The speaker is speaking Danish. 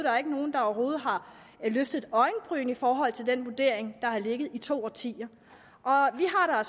er ikke nogen der overhovedet har løftet et øjenbryn i forhold til den vurdering der har ligget i to årtier og vi har